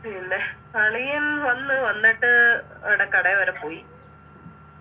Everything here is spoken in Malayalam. പിന്നെ അളിയൻ വന്ന് വന്നിട്ട് ആട കടയെ വരെ പോയി